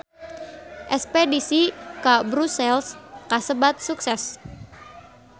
Espedisi ka Brussels kasebat sukses